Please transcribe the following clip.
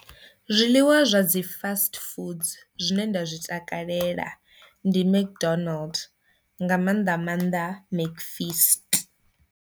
Zwiḽiwa zwa dzi fast foods zwine nda zwi takalela ndi McDonald's nga mannḓa maanḓa Mcfeast.